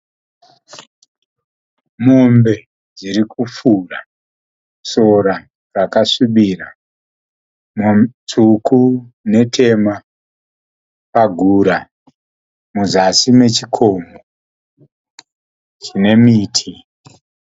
Mombe dzirikufura sora rakasvibira, tsvuku netema pagura muzasi mechikomo chine miti.